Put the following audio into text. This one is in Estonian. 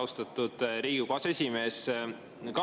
Austatud Riigikogu aseesimees!